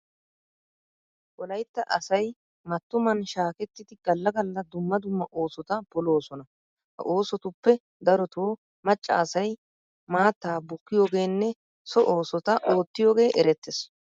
Wolaytta asay mattuman shaaketidi galla galla dumma dumma oosota poloosona. Ha oosotuppe darotoo macca asay maattaa bukkiyogeenne so oosota oottiyogee erettees.